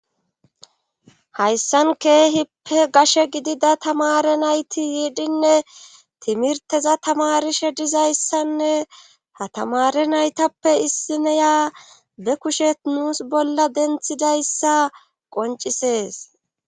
hayssan keehippe gashe gidida tamare nayti yiidhinne timirteza tamarishe dizayssanne hatamare naytappe issineyaa be kushet nuus bolla denthidayssa qoncisees